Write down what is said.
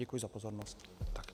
Děkuji za pozornost.